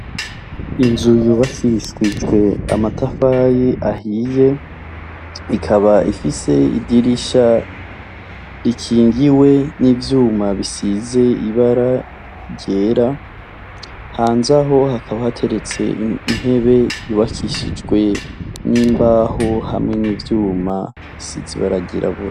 Inzu yubakishijwe amatafari ahiye, ikaba ifise idirisha rikingiwe n'ivyuma bisize ibara ryera, hanze aho, hakaba hateretse intebe yubakishijwe imbaho hamwe n'ivyuma bisize ibara ryirabura.